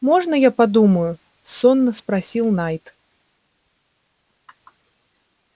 можно я подумаю сонно спросил найд